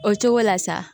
O cogo la sa